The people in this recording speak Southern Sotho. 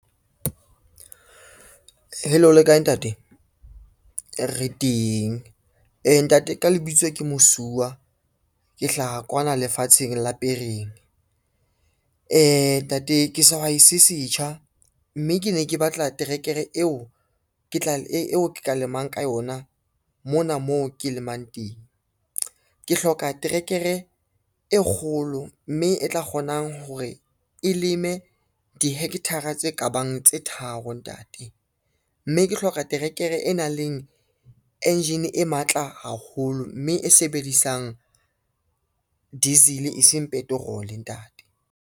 Hello le kae ntate, re teng, ntate ka lebitso ke Mosuwa, ke hlaha kwana lefatsheng la Pereng. Ntate ke sehwai se setjha, mme ke ne ke batla terekere eo ke ka lemang ka yona mona moo ke lemang teng. Ke hloka trekere e kgolo, mme e tla kgonang hore e leme di-hectare-ra tse kabang tse tharo ntate, mme ke hloka terekere e nang le engine e matla haholo, mme e sebedisang diesel e seng petrol ntate.